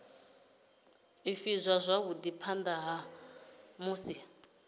ivhadzwa zwavhui phana ha musi